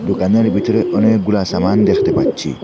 দোকানের ভিতরে অনেকগুলা সামান দেখতে পাচ্ছি।